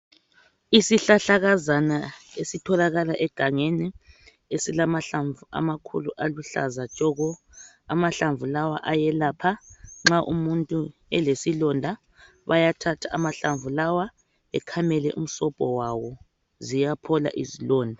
Isihlahlakazana esitholakala egangeni ezilamahlamvu amakhulu aluhlaza tshoko. Amahlamvu lawa ayelapha nxa umuntu elesilonda bayathatha amahlamvu lawa bekhamele umsobho wawo ziyaphola izilonda.